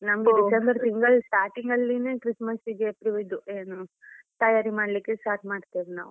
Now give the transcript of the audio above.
December ತಿಂಗಳು starting ಅಲ್ಲಿನೆ Christmas ಗೆ ತಯಾರಿ ಮಾಡ್ಲಿಕ್ಕೆ start ಮಾಡ್ತೇವೆ ನಾವ್.